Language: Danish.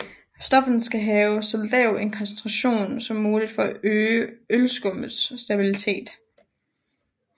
Stofferne skal have så lav en koncentration som muligt for at øge ølskummets stabilitet